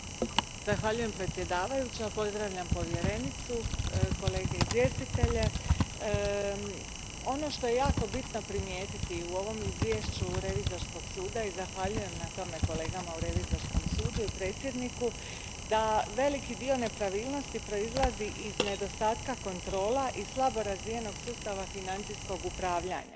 Gospođo predsjednice, pozdravljam povjerenicu, kolege izvjestitelje. Ono što je jako bitno primijetiti u ovom izvješću Revizorskog suda, i zahvaljujem na tome kolegama na Revizorskom sudu i predsjedniku, je da veliki dio nepravilnosti proizlazi iz nedostatka kontrola i slabo razvijenog sustava financijskog upravljanja, a